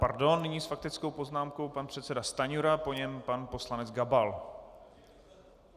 Pardon, nyní s faktickou poznámkou pan předseda Stanjura, po něm pan poslanec Gabal.